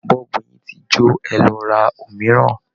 Bọ́ọ̀bù yín ti jó, ẹ lọ ra òmíràn!